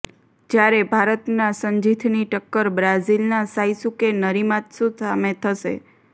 જ્યારે ભારતના સંજીથની ટક્કર બ્રાઝિલના સાઈસુકે નરિમાત્સુ સામે થશે